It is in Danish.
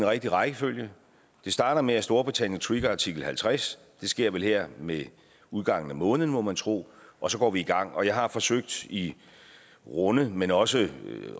rigtige rækkefølge det starter med at storbritannien trigger artikel halvtreds det sker vel her med udgangen af måneden må man tro og så går vi i gang jeg har forsøgt i runde men også